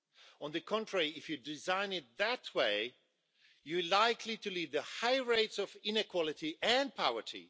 On the contrary, if you design it that way, you are likely to lead to high rates of inequality and poverty.